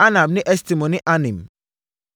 Anab ne Estemo ne Anim,